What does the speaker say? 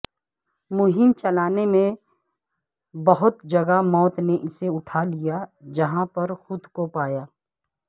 مہم چلانے میں بہت جگہ موت نے اسے اٹھا لیا جہاں پر خود کو پایا